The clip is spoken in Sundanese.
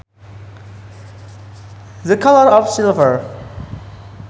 The colour of silver